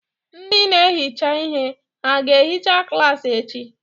Ndị na-ehicha ihe hà ga-ehicha klaasị echi?